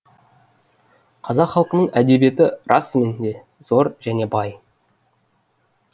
қазақ халқының әдебиеті расымен де зор және бай